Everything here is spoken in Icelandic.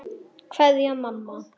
Kveðja, mamma.